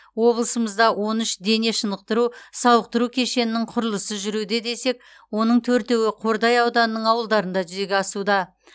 облысымызда он үш дене шынықтыру сауықтыру кешенінің құрылысы жүруде десек оның төртеуі қордай ауданының ауылдарында жүзеге асуда